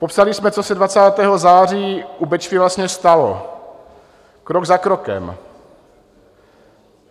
Popsali jsme, co se 20. září u Bečvy vlastně stalo, krok za krokem.